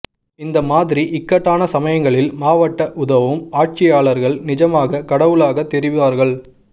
இந்த மாதிரி இக்கட்டான சமயங்களில் மாவட்ட உதவும் ஆட்சியாளர்கள் நிஜமாக கடவுளாக தெரிவார்கள்